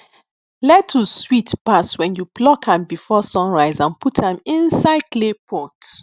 lettuce sweet pass when you pluck am before sun rise and put am inside clay pot